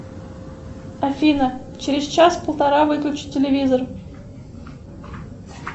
афина через час полтора выключи телевизор